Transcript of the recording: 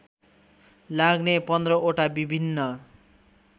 लाग्ने १५वटा विभिन्न